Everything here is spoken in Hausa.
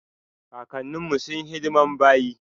kakanin mu sunyi hidiman bayi.